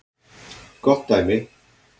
Gott dæmi